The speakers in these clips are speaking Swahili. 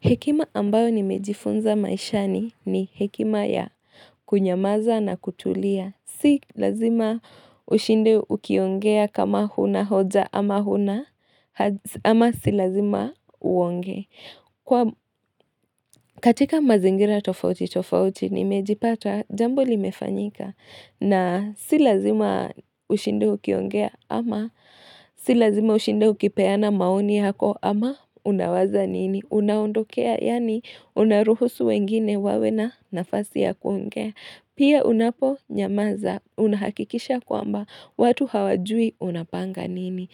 Hekima ambayo nimejifunza maishani ni hekima ya kunyamaza na kutulia. Si lazima ushinde ukiongea kama huna hoja ama si lazima uongee. Katika mazingira tofauti tofauti nimejipata jambo limefanyika. Na si lazima ushinde ukiongea ama si lazima ushinde ukipeana maoni hako ama unawaza nini? Unaundokea yaani unaruhusu wengine wawe na nafasi ya kuongea Pia unapo nyamaza unahakikisha kwamba watu hawajui unapanga nini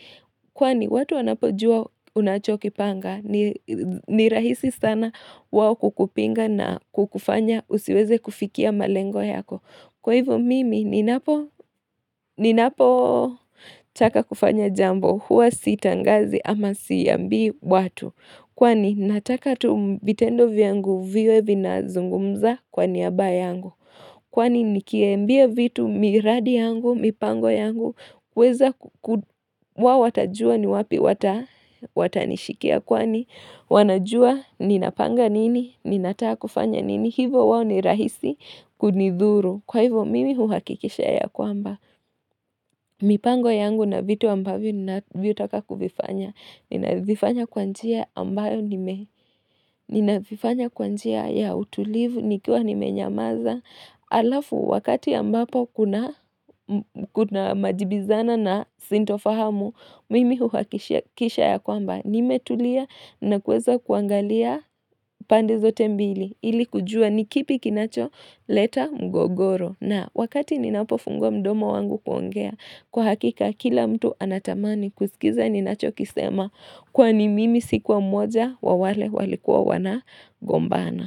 Kwani watu wanapojua unachoki panga ni rahisi sana wao kukupinga na kukufanya usiweze kufikia malengo yako Kwa hivyo mimi ninapo taka kufanya jambo huwa sitangazi ama siambi watu Kwani nataka tu mvitendo yangu viwe vina zungumza kwa niyaba yangu. Kwani nikiembia vitu miradi yangu, mipango yangu. Weza wa watajua ni wapi watanishikia kwani. Wanajua ninapanga nini, ninataka kufanya nini. Hivo wao ni rahisi kunidhuru. Kwa hivo mimi huhakikisha ya kwamba. Mipango yangu na vitu ambavyo nina vitaka kuvifanya Nina vifanya kwa njia ambayo nime Ninavifanya kwa njia ya utulivu Nikuwa nimenyamaza Alafu wakati ambapo kuna majibizana na sintofahamu Mimi huwakisha ya kwamba nimetulia na kweza kuangalia pande zote mbili ili kujua ni kipi kinacho leta mgogoro na wakati ninapofungua mdomo wangu kuongea Kwa hakika kila mtu anatamani kuskiza ninachokisema kwani mimi sikuwa mmoja wa wale walikuwa wana gombana.